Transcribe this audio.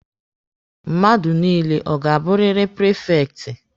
Mmadụ niile ọ ga-abụrịrị prifekti?